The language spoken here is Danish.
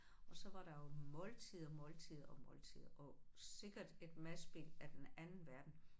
Og så var der jo måltider, måltider og måltider og sikkert et madspild af den anden verden